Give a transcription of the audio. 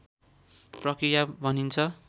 प्रक्रिया भनिन्छ